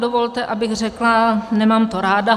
Dovolte, abych řekla - nemám to ráda.